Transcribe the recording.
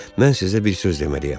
Mən sizə bir söz deməliyəm.